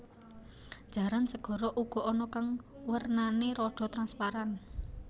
Jaran segara uga ana kang wernané rada transparan